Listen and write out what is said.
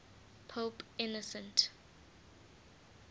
pope innocent